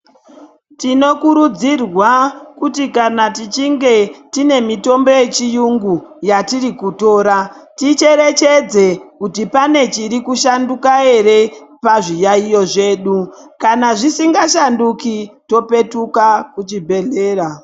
Tinokurudzirwa kuti kana tichinge tine mitombo yechiyungu, yatirikutora ticherechedze kuti pane chirikushanduka ere pazviyaiyo zvedu. Kana zvisingashanduki, topetuka kuzvibhedhlera.